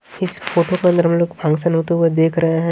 इस फोटो के अंदर हम लोग फंक्शन होते हुए देख रहे हैं।